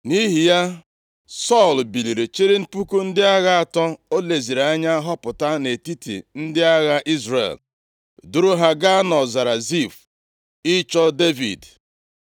Nʼihi ya, Sọl biliri chịrị puku ndị agha atọ o leziri anya họpụta nʼetiti ndị agha Izrel, duru ha gaa nʼọzara Zif ịchọ Devid.